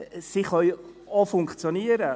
Sie können auch funktionieren.